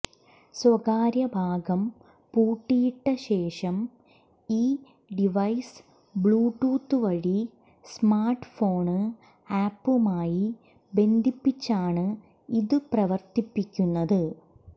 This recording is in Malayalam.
സ്വകാര്യഭാഗം പൂട്ടിയിട്ട ശേഷം ഈ ഡിവൈസ് ബ്ലൂടൂത്ത് വഴി സ്മാര്ട് ഫോണ് ആപ്പുമായി ബന്ധിപ്പിച്ചാണ് ഇതു പ്രവര്ത്തിപ്പിക്കുന്നത്